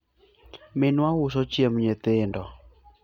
minwa uso chiemb nyithindo